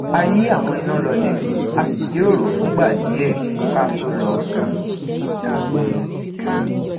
a yi àwọn iná lole a sì jiroro fúngbà díè ká tó lọ sùn